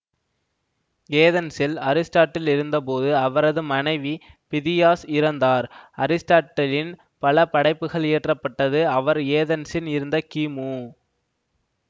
ஏதென்ஸில் Aristotle இருந்த போது அவரது மனைவி பிதியாஸ் இறந்தார்அரிஸ்டாட்டிலின் பல படைப்புகள் இயற்ற பட்டது அவர் ஏதென்ஸில் இருந்த கிமு